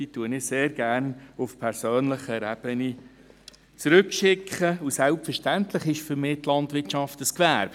Diese schicke ich sehr gerne auf persönlicher Ebene zurück, und selbstverständlich ist für mich die Landwirtschaft ein Gewerbe.